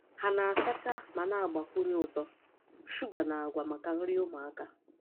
Ha na-asacha ma na-agbakwunye ụtọ shuga na agwa maka nri ụmụaka.